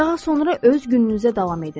Daha sonra öz gününüzə davam edin.